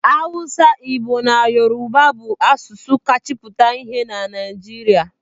Awụsa, Igbo na Yoruba bụ asụsụ kacha pụta ìhè na Naịjirịa.